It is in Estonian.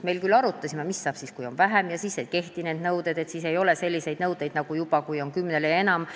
Me küll arutasime, mis saab siis, kui on vähem kui kümme, kas siis ei kehti need nõuded ja kas sel juhul ei ole selliseid nõudeid, mis on kümnele ja enamale.